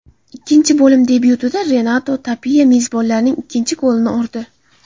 Ikkinchi bo‘lim debyutida Renato Tapiya mezbonlarning ikkinchi golini urdi.